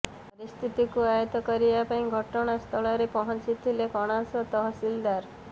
ପରିସ୍ଥିତିକୁ ଆୟତ କରିବା ପାଇଁ ଘଟଣାସ୍ଥଳରେ ପହଂଚିଥିଲେ କଣାସ ତହସିଲଦାର